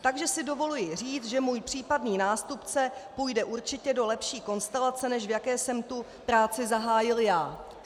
Takže si dovoluji říct, že můj případný nástupce půjde určitě do lepší konstelace, než v jaké jsem tu práci zahájil já.